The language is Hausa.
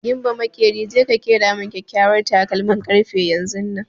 Gimba maƙeri, je ka ƙera min kyakyawar takalmin ƙarfe yanzunnan!